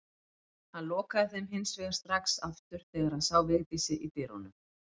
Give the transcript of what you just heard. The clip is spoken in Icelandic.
Hann lokaði þeim hins vegar strax aftur þegar hann sá Vigdísi í dyrunum.